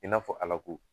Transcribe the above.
I n'a fɔ ala ko